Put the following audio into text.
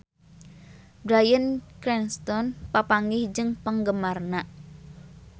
Bryan Cranston papanggih jeung penggemarna